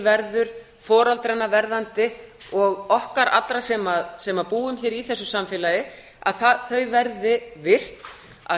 verður foreldranna verðandi og okkar allra sem búum hér í þessu samfélagi að þau verði virk að